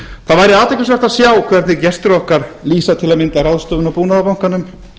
það væri athyglisvert að sjá hvernig gestir okkar lýsa til að mynda ráðstöfun á búnaðarbankanum